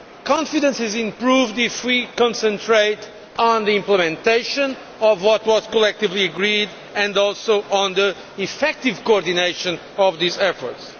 Confidence is improved if we concentrate on the implementation of what was collectively agreed and also on the effective coordination of these efforts.